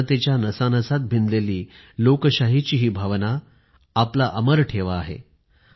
जनतेच्या नसानसात भिनलेली लोकशाहीची ही भावना आपला अमर ठेवा आहे